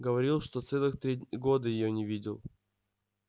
говорил что целых три года её не видел